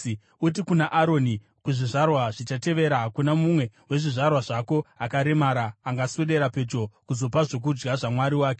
“Uti kuna Aroni, ‘Kuzvizvarwa zvichatevera hakuna mumwe wezvizvarwa zvako akaremara angaswedera pedyo kuzopa zvokudya zvaMwari wake.